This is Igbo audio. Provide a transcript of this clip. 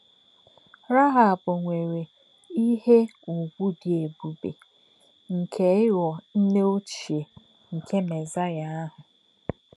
Rahab nwèrè ìhè ùgwù dì èbùbè nke ìghọ̀ nnè òchíè nke Mézáíà àhụ̀.